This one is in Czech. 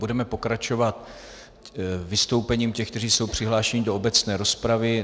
Budeme pokračovat vystoupením těch, kteří jsou přihlášeni do obecné rozpravy.